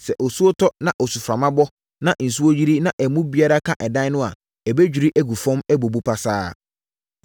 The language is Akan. Sɛ osuo tɔ, na osuframa bɔ, na nsuo yiri, na emu biara ka ɛdan no a, ɛbɛdwiri agu fam, abubu pasaa.”